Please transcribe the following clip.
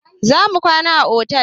Za mu kwana a otel.